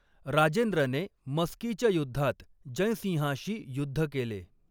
राजेंद्रने मस्कीच्या युद्धात जयसिंहाशी युद्ध केले.